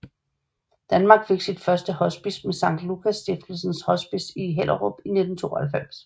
Danmark fik sit første hospice med Sankt Lukas Stiftelsens Hospice i Hellerup i 1992